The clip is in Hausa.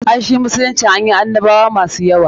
Ai shi musulunci anyi annabwa masu yawa.